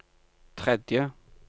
tredje